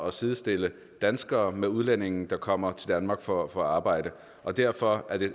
at sidestille danskere med udlændinge der kommer til danmark for at få arbejde og derfor er det